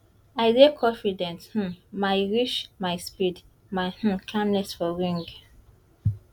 i dey confident um my reach my speed my um calmness for ring